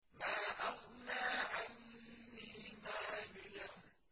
مَا أَغْنَىٰ عَنِّي مَالِيَهْ ۜ